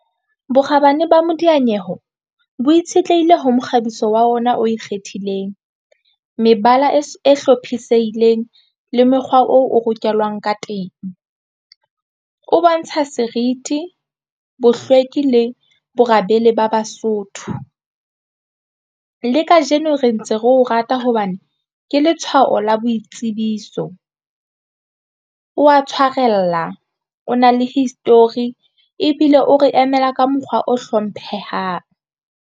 Bokgabane ba modiyanyeweho bo itshetlehile ho mokgabiso wa ona o ikgethileng mebala e hlophisehileng le mokgwa oo o rokelang ka teng o bontsha serithi bohlweki le bo rabele ba Basotho. Le kajeno re ntse re o rata hobane ke letshwaho la boitsebiso wa tshwarella o na le history ebile o re emela ka mokgwa o hlomphehang.